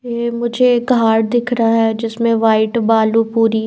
ये मुझे एक हार्ट दिख रहा है जिसमें वाइट बालूपूरी--